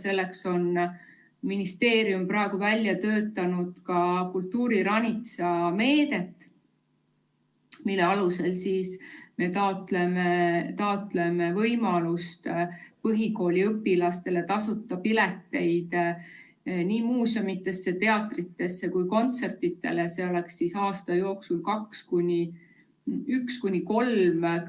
Selleks on ministeerium välja töötamas kultuuriranitsa meedet, mille alusel me taotleme põhikooliõpilastele võimalust saada tasuta pileteid nii muuseumidesse, teatritesse kui ka kontsertidele, aasta jooksul 1–3